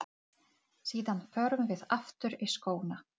Leiðin liggur milli Þórsmerkur og Landmannalauga.